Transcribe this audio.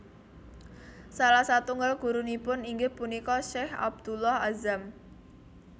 Salah satunggal gurunipun inggih punika Sheikh Abdullah Azzam